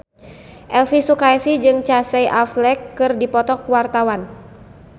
Elvi Sukaesih jeung Casey Affleck keur dipoto ku wartawan